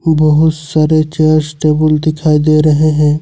बहुत सारे chairs table दिखाई दे रहे हैं।